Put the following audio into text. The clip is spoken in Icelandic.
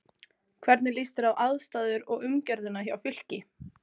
Hvernig líst þér á aðstæður og umgjörðina hjá Fylki?